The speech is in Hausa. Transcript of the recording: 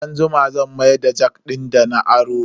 Sai anjima zan mayar da jak din dana aro.